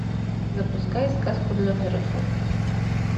запускай сказку для взрослых